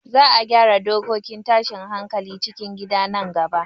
Za a gyara dokokin tashin hankalin cikin gida nan gaba